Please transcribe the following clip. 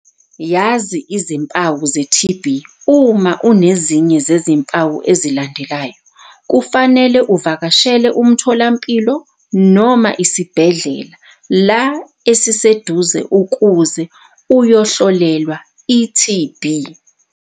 Yazi izimpawu ze-TB. Uma unezinye zezimpawu ezilandelayo, kufanele uvakashele umtholampilo noma isibhedle la esiseduze ukuze uyohlolelwa i-TB.